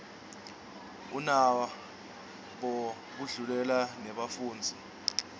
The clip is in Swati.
unabo budlelwane nebafundzisi